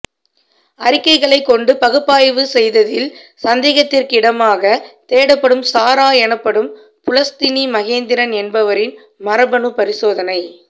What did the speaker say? அறிக்கைகளை கொண்டு பகுப்பாய்வு செய்ததில் சந்தேகத்திற்கிடமாக தேடப்படும் சாரா எனப்படும் புலஸ்தினி மகேந்திரன் என்பவரின் மரபணுபரிசோதனை